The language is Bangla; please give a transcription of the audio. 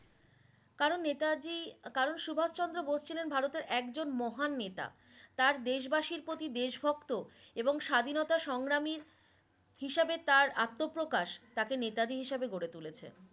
করান নেতাজি কারন সুভাষ চন্দ্র বোস ছিলেন ভারতের একজন মহান নেতা । তার দেশ বাসির প্রতি দেশভক্ত এবং স্বাধীনতার সংগ্রামী হিসেবে তার আত্মপ্রকাশ তাকে নেতাজী হিসেবে গড়ে তুলেছেন